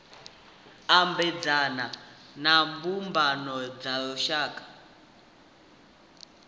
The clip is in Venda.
ambedzana na mbumbano dza lushaka